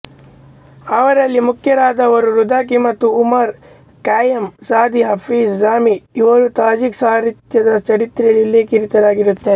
ಅವರಲ್ಲಿ ಮುಖ್ಯರಾದವರು ರುದಾಕಿ ಮತ್ತು Omar Khayyam Saadi Hafez Jami ಇವರೂ ತಾಜಿಕ್ ಸಾಹಿತ್ಯದ ಚರಿತ್ರೆಯಲ್ಲಿ ಉಲ್ಲೇಖಿತರಾಗಿದ್ದಾರೆ